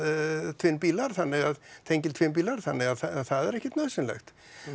tvinnbílar þannig að tengiltvinnbílar þannig að það er ekkert nauðsynlegt